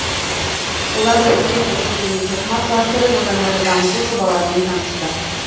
оларды іске қосу және тоқыма кластерін одан әрі дамыту жобаларымен танысты